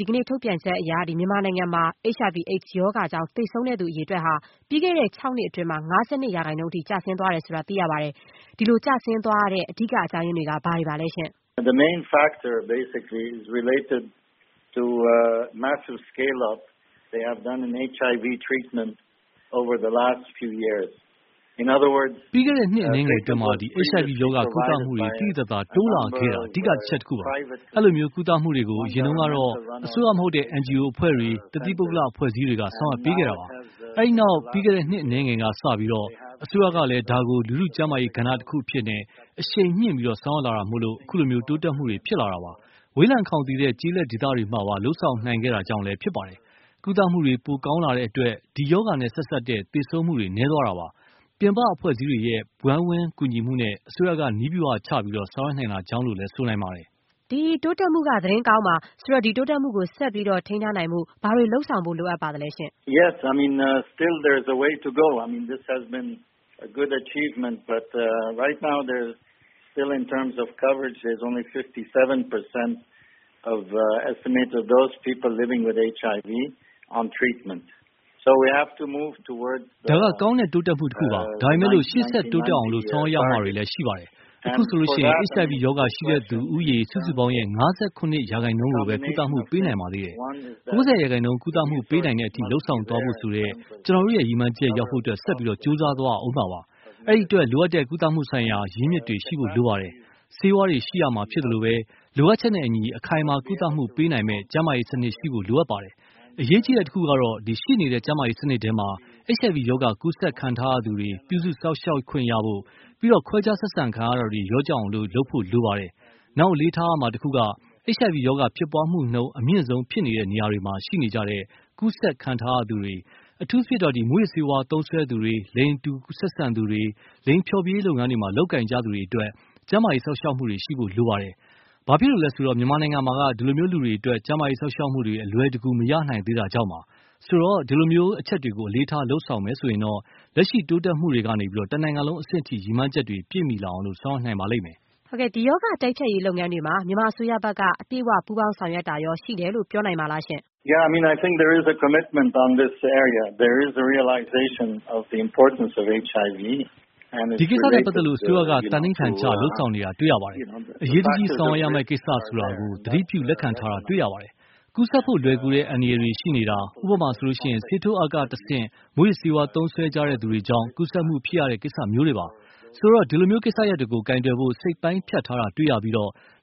ဒီကနေ့ ထုတ်ပြန်ချက်အရ မြန်မာနိုင်ငံမှာ HIV-AIDS ရောဂါကြောင့် သေဆုံးသူ အရေအတွက်ဟာ ပြီးခဲ့တဲ့ ၆ နှစ်အတွင်း ၅၂ ရာခိုင်နှုန်းအထိ ကျဆင်းသွားတယ်ဆိုတာ သိရပါတယ်။ ဒီလိုကျဆင်းသွားစေတဲ့ အဓိက အကြောင်းရင်းတွေက ဘာတွေပါလဲ။ “ပြီးခဲ့တဲ့ နှစ်အနည်းငယ်အတွင်း HIV ရောဂါ ကုသမှုတွေ သိသိသာသာ တိုးလာခဲ့တာက အဓိက အချက်တခုပါပဲ။ အဲဒီလို ကုသမှုတွေကို အရင်တုန်းကတော့ အစိုးရမဟုတ်တဲ့ NGO အဖွဲ့တွေ၊ တသီး ပုဂ္ဂိလိက အဖွဲ့အစည်းတွေက ဆောင်ရွက်ပေးခဲ့တာပါ။ အဲဒီနောက် ပြီးခဲ့တဲ့ နှစ်အနည်းငယ်က စလို့ အစိုးရကလည်း ဒါကို လူထုကျန်းမာရေးကဏ္ဍတခုအဖြစ် အရှိန်မြင့် ဆောင်ရွက်လာတာကြောင့် အခုလို တိုးတက်မှုတွေ ဖြစ်လာတာပါ။ ဝေးလံခေါင်သီတဲ့ ကျေးလပ်ဒေသတွေမှာပါ လုပ်ဆောင်နိုင်ခဲ့တာကြောင့်လည်း ဖြစ်ပါတယ်။ ကုသမှုတွေ ပိုကောင်းလာတဲ့အတွက် ဒီရောဂါနဲ့ဆက်စပ်တဲ့ သေဆုံးမှုတွေ နည်းသွားတာပါပဲ။ ပြင်ပ အဖွဲ့အစည်းတွေရဲ့ ဝိုင်းဝန်းကူညီမှုနဲ့ အစိုးရက နည်းဗျူဟာချ ဆောင်ရွက်နိုင်တာကြောင့်လို့လည်း ဆိုနိုင်ပါတယ်။” ဒီတိုးတက်မှုက သတင်းကောင်းပါ။ ဒီတိုးတက်မှုကို ဆက်ပြီး ထိန်းထားနိုင်ဖို့ ဘာတွေ လုပ်ဆောင်ဖို့ လိုအပ်ပါသလဲ။ “ဒါက ကောင်းတဲ့တိုးတက်မှုတခုပါ။ ဒါပေမဲ့ ရှေ့ဆက်တိုးတက်အောင် ဆောင်ရွက်ရမှာတွေလည်း ရှိပါသေးတယ်။ အခုဆိုရင် HIV ရောဂါ ရှိတဲ့သူဦးရေ စုစုပေါင်းရဲ့ ၅၇ ရာခိုင်နှုန်းကိုပဲ ကုသမှု ပေးနိုင်ပါသေးတယ်။ ၉၀ ရာခိုင်နှုန်း ကုသမှုပေးနိုင်တဲ့အထိ လုပ်ဆောင်သွားဖို့ ဆိုတဲ့ ကျနော်တို့ရဲ့ ရည်မှန်းချက်ရောက်ဖို့ ဆက်ကြိုးစားသွားရဦးမှာပါ။ အဲဒီအတွက် လိုအပ်တဲ့ ကုသမှုဆိုင်ရာ ရင်းမြစ်တွေ ရှိဖို့လိုပါတယ်။ ဆေးဝါးတွေ ရှိရမှာဖြစ်သလို၊ လိုအပ်နဲ့အညီ အခိုင်အမာ ကုသမှုပေးနိုင်မယ့် ကျန်းမာရေးစနစ် ရှိဖို့ လိုအပ်ပါတယ်။ အရေးကြီးတဲ့တခုက - ရှိနေတဲ့ ကျန်းမာရေးစနစ်ထဲမှာ HIV ရောဂါ ကူးစက်ခံထားရ သူတွေ ပြုစုစောင့်ရှောက်ခွင့်ရဖို့၊ ပြီးတော့ ခွဲခြားဆက်ဆံတာတွေ လျော့ကျအောင် လုပ်ဖို့လိုပါတယ်။ နောက် အလေးထားရမှာတခုက HIV ရောဂါ ဖြစ်ပွားမှုနှုန်း အမြင့်ဆုံး ဖြစ်နေတဲ့နေရာတွေမှာ ရှိနေကြတဲ့ ကူးဆက်ခံထားရသူတွေ၊ အထူးသဖြင့် မူးယစ်ဆေးဝါးသုံးစွဲသူတွေ၊ လိင်တူဆက်ဆံသူတွေ၊ လိင်ဖျော်ဖြေရေးလုပ်ငန်းတွေမှာ လုပ်ကိုင်ကြသူတွေ အတွက် ကျန်းမာရေး စောင့်ရှောက်မှုတွေ ရှိဖို့လိုပါတယ်။ ဘာဖြစ်လို့လဲ ဆိုတော့ မြန်မာပြည်မှာ ဒီလို လူတွေ အတွက် ကျန်းမာရေး စောင့်ရှောက်မှုတွေ အလွယ်တကူ မရနိုင်သေးတာကြောင့်ပါ။ ဆိုတော့ ဒီလိုအချက်တွေကို အလေးထား လုပ်ဆောင်မယ် ဆိုရင်တော့ လက်ရှိ တိုးတက်မှုတွေကနေ တနိုင်ငံလုံး အဆင့် ရည်မှန်းချက်တွေ ပြည့်မီလာအောင် ဆောင်ရွက်နိုင်ပါလိမ့်မယ်။” ဒီရောဂါ တိုက်ဖျက်ရေးလုပ်ငန်းတွေမှာ မြန်မာအစိုးရဘက်က အပြည့်အ၀ ပူးပေါင်းဆောင်ရွက်မှု ရှိတယ်လို့ ပြောနိုင်ပါသလား။ “ဒီကိစ္စနဲ့ပတ်သက်လို့ အစိုးရက သန္နိဌာန်ချ လုပ်ဆောင်နေတာ တွေ့ရပါတယ်။ အရေးတကြီး ဆောင်ရွက်ရမယ့်ကိစ္စ ဆိုတာကို သတိပြု လက်ခံထားတာ တွေ့ရပါတယ်။ ကူးစက်ဖို့လွယ်ကူတဲ့ အန္တရာယ်တွေ ရှိနေတာ… ဥပမာ ဆေးထိုးအက် ကနေတဆင့် မူးယစ်ဆေး သုံးစွဲကြတဲ့သူတွေကြောင့် ကူးစက်မှုဖြစ်ရတဲ့ကိစ္စမျိုးတွေပါ။ ဆိုတော့ ဒီလိုကိစ္စရပ်တွေကို ကိုင်တွယ်ဖို့ စိတ်ပိုင်းဖြတ်ထားတာ တွေ့ရပြီး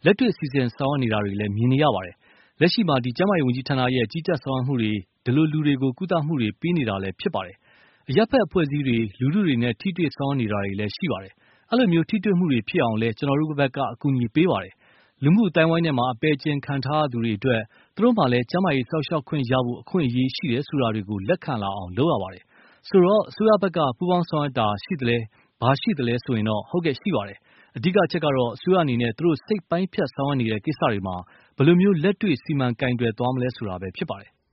လက်တွေ့ စီစဉ်ဆောင်ရွက်နေတာတွေလည်း မြင်ရပါတယ်။ လက်ရှိမှာ ကျန်းမာရေးဝန်ကြီးဌာနရဲ့ ကြီးကြပ်ဆောင်ရွက်မှုတွေနဲ့ ဒီလိုလူတွေကို ကုသမှုတွေ ပေးနေတာလည်း ဖြစ်ပါတယ်။ အရပ်ဖက်အဖွဲ့အစည်းတွေ၊ လူထုတွေနဲ့ ထိတွေ့ ဆောင်ရွက်တာတွေလည်း ရှိပါတယ်။ အဲဒီလို ထိတွေ့မှုတွေ ဖြစ်အောင်လည်း ကျနော်တို့က ကူညီပေးပါတယ်။ လူမှုအသိုင်းအဝိုင်းထဲမှာ ဖယ်ကျဉ်ခံထားရတဲ့သူတွေ အတွက် သူတို့မှာလည်း ကျန်းမာရေး စောင့်ရှောက်ခွင့်ရဖို့ အခွင့်အရေး ရှိတယ်ဆိုတာတွေကို လက်ခံလာအောင် လုပ်ရပါတယ်။ ဆိုတော့ အစိုးရဘက်က ပူပေါင်းဆောင်ရွက်တာ ရှိသလဲမေးရင်တော့ ဟုတ်ကဲ့ ရှိပါတယ်။ အဓိက ကတော့ အစိုးရအနေနဲ့ သူတို့ စိတ်ပိုင်းဖြတ် ဆောင်ရွက်နေတဲ့ ကိစ္စတွေမှာ ဘယ်လို လက်တွေ့ စီမံကိုင်တွယ်သွားမလဲ ဆိုတာပဲဖြစ်ပါတယ်။”